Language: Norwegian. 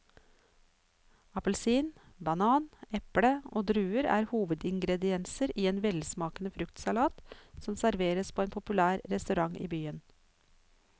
Appelsin, banan, eple og druer er hovedingredienser i en velsmakende fruktsalat som serveres på en populær restaurant i byen.